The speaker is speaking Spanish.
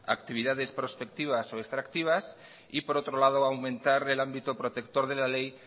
actividades prospectivas o extractivas y por otro lado aumentar el ámbito protector de la ley